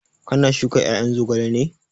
Ka na shuka ƴaƴan zogalen ne?